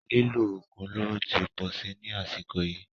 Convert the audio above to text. Lílo oògùn olóró tí pọ̀ sí ní àsìkò yìí.